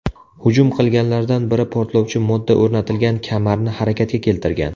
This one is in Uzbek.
Hujum qilganlardan biri portlovchi modda o‘rnatilgan kamarni harakatga keltirgan.